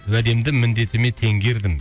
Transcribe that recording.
уәдемді міндетіме теңгердім